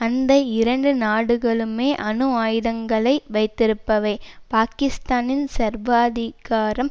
அந்த இரண்டு நாடுகளுமே அணு ஆயுதங்களை வைத்திருப்பவை பாகிஸ்தானின் சர்வாதிகாரம்